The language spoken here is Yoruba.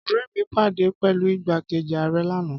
Ọ̀rẹ́ mi pàdé pẹ̀lú igbákejì ààrẹ lánàá